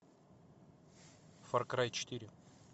фар край четыре